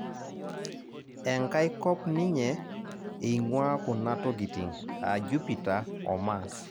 enkai kop ninye eing'ua kuna tokitin aa Jupita o mas